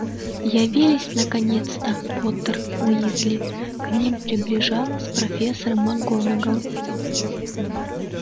явились наконец-то поттер уизли к ним приближалась профессор макгонагалл